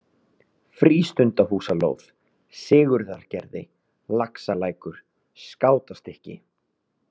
Frístundahúsalóð, Sigurðargerði, Laxalækur, Skátastykki